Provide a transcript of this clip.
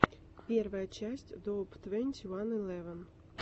первая часть доуп твенти ван элеван